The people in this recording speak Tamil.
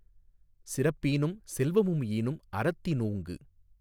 சிறப்பீனும் செல்வமும் ஈனும் அறத்தினூங்கு